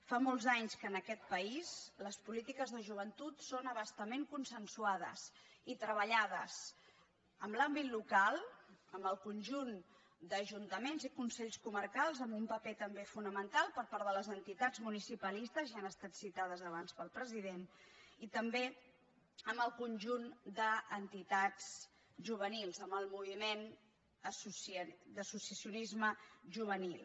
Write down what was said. fa molts anys que en aquest país les polítiques de joventut són a bastament consensuades i treballades en l’àmbit local amb el conjunt d’ajuntaments i consells comarcals amb un paper també fonamental per part de les entitats municipalistes ja han estat citades abans pel president i també amb el conjunt d’entitats juvenils amb el moviment d’associacionisme juvenil